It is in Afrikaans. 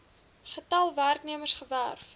getal werknemers gewerf